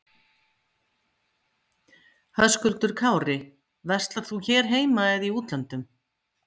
Höskuldur Kári: Verslar þú hér heima eða í útlöndum?